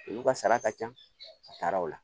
Olu ka sara ka ca a taara o la